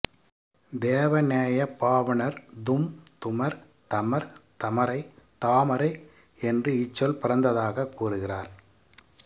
தேவநேயப் பாவாணர் தும் துமர் தமர் தமரை தாமரை என்று இச்சொல் பிறந்ததாகக் கூறுகிறார்